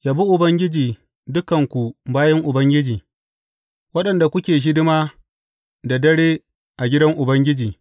Yabi Ubangiji, dukanku bayin Ubangiji waɗanda kuke hidima da dare a gidan Ubangiji.